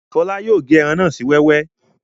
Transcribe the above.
Ṣọlá yóò gé ẹran náà sí wẹ́wẹ́